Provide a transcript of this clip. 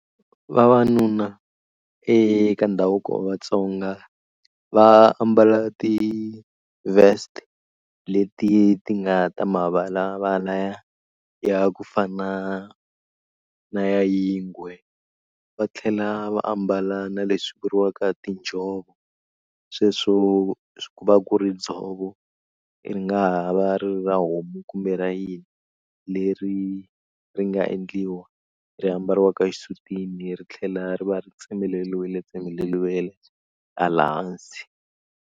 Vavanuna eka ndhavuko wa Vatsonga va ambala ti vest leti ti nga ta mavalavala ya ya ku fana na ya yingwe va tlhela va ambala na leswi vuriwaka tinjhovo sweswo ku va ku ri dzovo ri nga ha va ri ra homu kumbe ra yini leri ri nga endliwa ri ambariwaka xisutini ri tlhela ri va ri tsemeleliwile tsemeleriwile hala hansi.